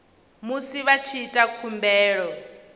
musi vha tshi ita khumbelo